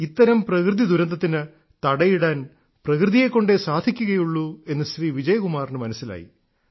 ഇത്തരം പ്രകൃതിദുരന്തത്തിന് തടയിടാൻ പ്രകൃതിയെ കൊണ്ടേ സാധിക്കുകയുള്ളൂ എന്ന് ശ്രീ വിജയ്കുമാറിന് മനസ്സിലായി